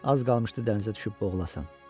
Az qalmışdı dənizə düşüb boğulasan.